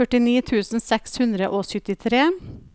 førtini tusen seks hundre og syttitre